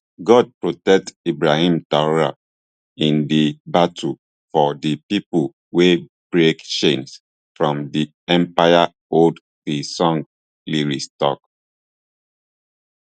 god protect ibrahim traor in di battle for di pipo way break chains from di empire hold di song lyrics tok